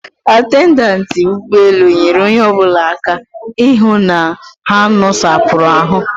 Atendantị ụgbọelu nyere onye ọbụla aka ịhụ na ha nosapụrụ ahụ